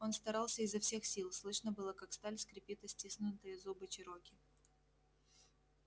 он старался изо всех сил слышно было как сталь скрипит о стиснутые зубы чероки